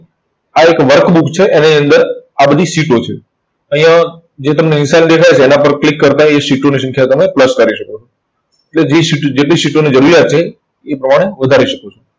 આ એક workbook છે. એની અંદર આ બધી સીટો છે. તો અહિંયા જે તમને નિશાન દેખાઈ તેના પર click કરતા એ થી તમે plus કરી શકો. તો જે સીટ, જેટલી સીટોની જરૂરિયાત છે, એ પ્રમાણે વધારી શકો છો.